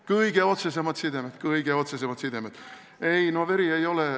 Kõige otsesemad sidemed, kõige otsesemad sidemed!